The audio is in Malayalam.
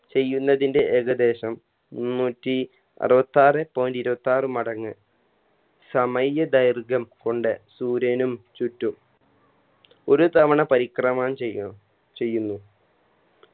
ചെയ്യുന്നതിൻറെ ഏകദേശം മുന്നൂറ്റി അറുവത്താറെ point ഇരുവത്താർ മടങ്ങ് സമയ ദൈർഗ്യം കൊണ്ട് സൂര്യനും ചുറ്റും ഒരു തവണ പരിക്രമണം ചെയ്യും ചെയ്യുന്നു